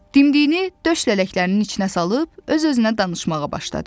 Dimdiyini döş lələklərinin içinə salıb öz-özünə danışmağa başladı.